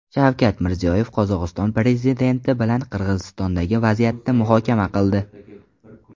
Shavkat Mirziyoyev Qozog‘iston prezidenti bilan Qirg‘izistondagi vaziyatni muhokama qildi.